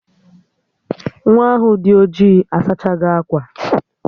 Nwaa ahụ dị ojii asachago akwa